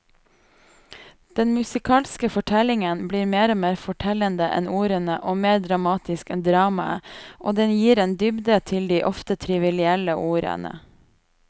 Den musikalske fortellingen blir mer fortellende enn ordene og mer dramatisk enn dramaet, og den gir en dybde til de ofte trivielle ordene.